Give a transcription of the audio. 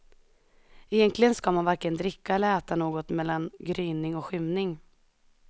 Egentligen ska man varken dricka eller äta något mellan gryning och skymning.